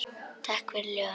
Takk fyrir ljóðin.